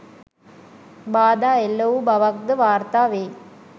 බාධා එල්ල වූ බවක් ද වාර්තා වෙයි